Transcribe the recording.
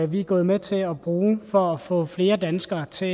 vi er gået med til at bruge for at få flere danskere til